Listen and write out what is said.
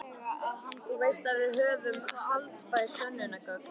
Þú veist að við höfum haldbær sönnunargögn.